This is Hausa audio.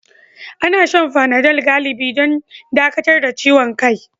Ana shan fanadol galibi don dakatar da ciwon kai.